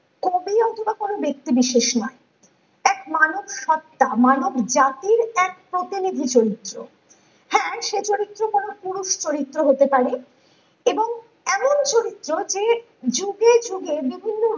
কবি অথবা কোনো ব্যাক্তি বিশেষ নয় এক মানব সত্তা মানব জাতির এক প্রতিনিধি চরিত্র হ্যাঁ সে চরিত্র কোনো পুরুষ চরিত্র হতে পারে এবং এমন চরিত্র যে যুগে যুগে বিভিন্ন